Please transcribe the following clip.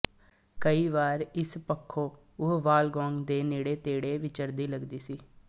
ਕਈ ਵਾਰ ਇਸ ਪੱਖੋਂ ਉਹ ਵਾੱਲ ਗੌਗ ਦੇ ਨੇੜੇਤੇੜੇ ਵਿਚਰਦੀ ਲਗਦੀ ਹੈ